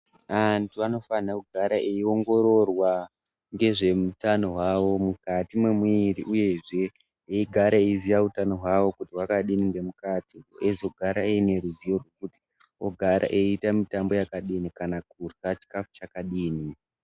Antu anofana kugara eiongororwa nezvehutano wavo mukati memwiri uyezve vagare veiziva hutano hwavo kwakadi nemukati vogara vaineruzivo kuti vogara veita mitambo yakadini kana kurya chikafu chakadini.